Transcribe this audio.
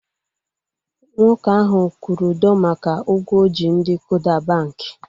Nwoke ahu kwụrụ ụdọ maka ụgwọ o ji ndị Kuda bankị